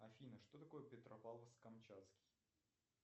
афина что такое петропавловск камчатский